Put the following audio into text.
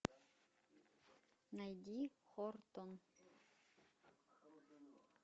найди хортон